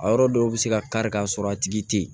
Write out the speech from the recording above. A yɔrɔ dɔw bɛ se ka kari ka sɔrɔ a tigi tɛ yen